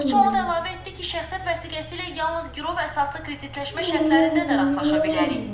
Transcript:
İqtisadçı onu da əlavə etdi ki, şəxsiyyət vəsiqəsi ilə yalnız girov əsaslı kreditləşmə şərtlərində də rastlaşa bilərik.